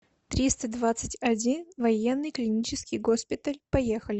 триста двадцать один военный клинический госпиталь поехали